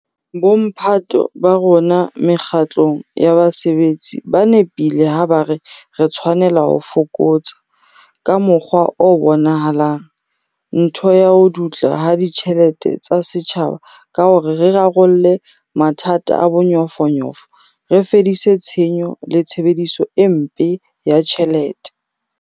Bomphato ba rona mekga tlong ya basebetsi ba nepile ha ba re re tshwanela ho fokotsa, ka mokgwa o bonahalang, ntho ya ho dutla ha ditjhelete tsa setjhaba ka hore re rarolle mathata a bonyofonyofo, re fedise tshenyo le tshebediso e mpe ya ditjhelete.